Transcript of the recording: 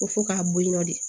Ko fo k'a bɔ yen nɔ de